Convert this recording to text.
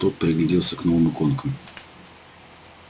тот пригляделся к новым иконкам